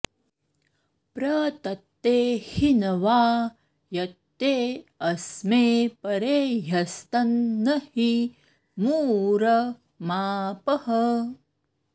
प्र तत्ते॑ हिनवा॒ यत्ते॑ अ॒स्मे परे॒ह्यस्तं॑ न॒हि मू॑र॒ मापः॑